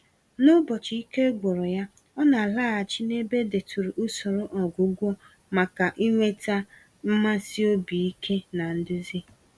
N'ụbọchị ike gwụrụ ya, ọ na-alaghachi n'ebe edeturu usoro ọgwụgwọ maka ịnweta mmasị obi ike na nduzi.